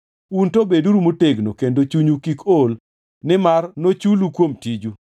Un to beduru motegno kendo chunyu kik ol nimar nochulu kuom tiju.”